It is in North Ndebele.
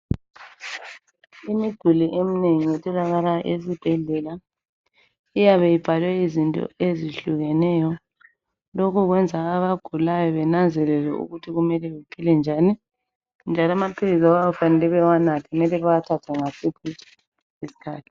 Imiduli eminengi etholakala esibhedlela iyabe ibhalwe izinto ezehlukeneyo Lokho kwenza abagulayo benanzelele ukuthi kumele bephile njani njalo amaphilisi okwakufanele bawanathe mele bewathathe ngasiphi isikhathi